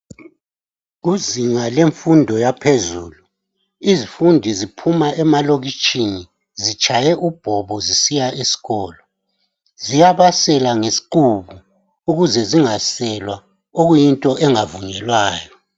Kuzinga lemfundo yaphezulu izifundi ziphuma emalokitshini zitshaye ubhobo zisiya esikolo. Ziyabasela ngeziqhubu ukuze zingaselwa okuyinto engavunyelwayo.